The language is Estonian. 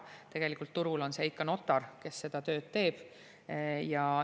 Tegelikult turul on see ikka notar, kes seda tööd teeb.